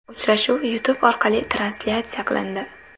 Uchrashuv YouTube orqali translyatsiya qilindi.